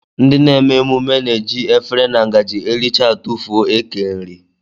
Ndị na-eme emume na-eji efere na ngaji erichaa a tụfuo eke nri